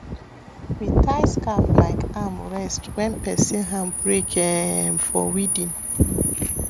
we tie scarf like arm rest when person hand break um for weeding